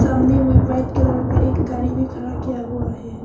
सामने में white colour का एक गाड़ी भी खड़ा किया हुआ है।